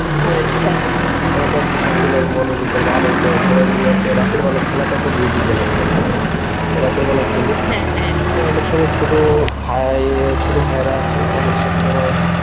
আলাদা একটা শান্তি লাগে মনের ভিতর বা আনন্দ সবাই মিলে একটা রাতের বেলায় খেলাটা তো বুঝি কেমন লাগে হ্যাঁ রাতের বেলায় খেললে অনেকসময় ছোট ভাই ছোট ভাইরা আছে তাদের সাথে তোমার